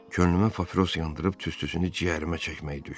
Könlümə papiros yandırıb tüstüsünü ciyərimə çəkmək düşdü.